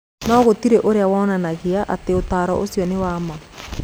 No gũtirĩ ũira wonanagia atĩ ũtaaro ũcio nĩ wa ma.